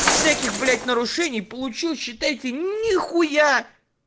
всяких блять нарушений получил считай ты нихуя